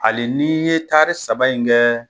Ai ni ye taari saba in kɛ